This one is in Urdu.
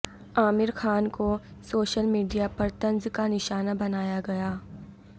عامر خان کو سوشل میڈیا پر طنز کا نشانہ بنایا گیا